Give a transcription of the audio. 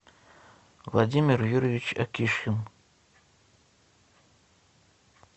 владимир юрьевич акишин